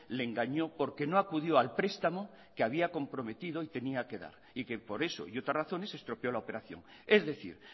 le engañó porque no acudió al prestamo que había comprometido y tenía que darle y que por eso y otras razones se estropeó la operación es decir